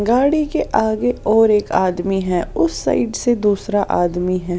गाड़ी के आगे और एक आदमी है उस साइड से दूसरा आदमी है।